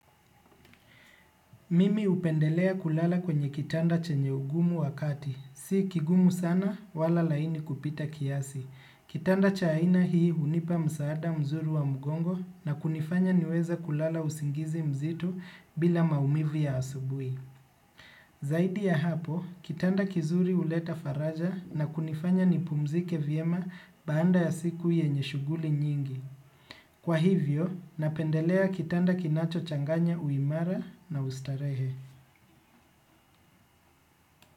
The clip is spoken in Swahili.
Mimi upendelea kulala kwenye kitanda chenye ugumu wakati. Si kigumu sana, wala laini kupita kiasi. Kitanda cha aina hii hunipa msaada mzuri wa mgongo na kunifanya niweze kulala usingizi mzito bila maumivu ya asubui. Zaidi ya hapo, kitanda kizuri uleta faraja na kunifanya nipumzike vyema baada ya siku yenye shughuli nyingi. Kwa hivyo, napendelea kitanda kinacho changanya uimara na ustarehe.